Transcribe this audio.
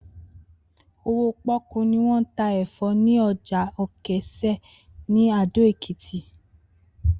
Owó pó̩kú ni wó̩n ta è̩fó̩ ní o̩jà Òkès̩á ní Ado-Èkìtì